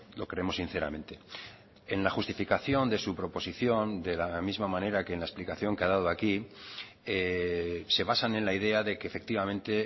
lo creemos sinceramente en la justificación de su proposición de la misma manera que en la explicación que ha dado aquí se basan en la idea de que efectivamente